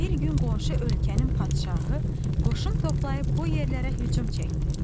Bir gün qonşu ölkənin padşahı qoşun toplayıb bu yerlərə hücum çəkdi.